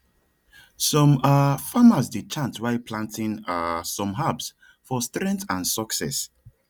some um farmers dey chant while planting um some herbs for strength and success